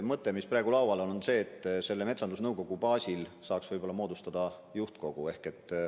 Mõte, mis praegu laual on, on see, et metsandusnõukogu baasil saaks moodustada juhtkogu.